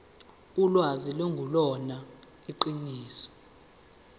ulwazi lungelona iqiniso